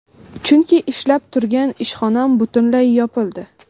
Chunki ishlab turgan ishxonam butunlay yopildi.